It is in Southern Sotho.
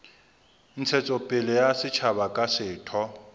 ntshetsopele ya setjhaba kapa setho